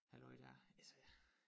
Halløj dér altså